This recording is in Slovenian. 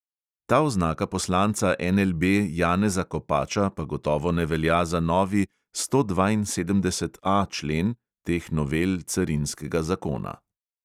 Ta oznaka poslanca NLB janeza kopača pa gotovo ne velja za novi stodvainsedemdeseti A člen teh novel carinskega zakona.